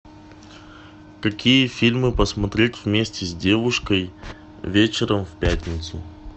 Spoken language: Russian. какие фильмы посмотреть вместе с девушкой вечером в пятницу